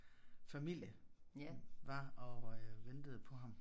Familie var og øh ventede på ham